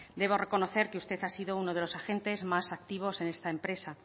debo reconocer que usted ha sido uno de los agentes más activos en esta empresa